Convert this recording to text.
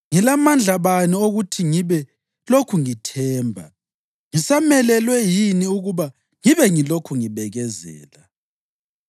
Ngilamandla bani okuthi ngibe lokhu ngithemba? Ngisamelelwe yini ukuba ngibe ngilokhu ngibekezela?